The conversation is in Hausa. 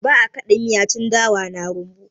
Ba'a ã kada miya tun dawa na rumbu.